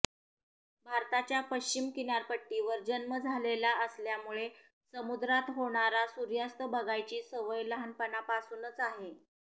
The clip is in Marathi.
भारताच्या पश्चिम किनारपट्टीवर जन्म झालेला असल्यामुळे समुद्रात होणारा सूर्यास्त बघायची सवय लहानपणापासून आहे